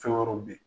Fɛn wɛrɛw bɛ ye